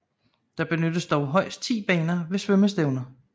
Der benyttes dog højst 10 baner ved svømmestævner